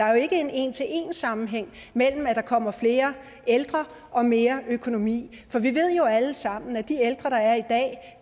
er en en til en sammenhæng mellem at der kommer flere ældre og mere økonomi for vi ved jo alle sammen at